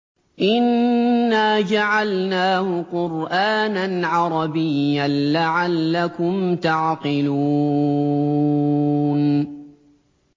إِنَّا جَعَلْنَاهُ قُرْآنًا عَرَبِيًّا لَّعَلَّكُمْ تَعْقِلُونَ